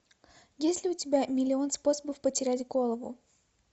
есть ли у тебя миллион способов потерять голову